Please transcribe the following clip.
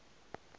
ke re go ka no